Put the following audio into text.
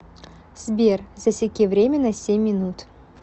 сбер засеки время на семь минут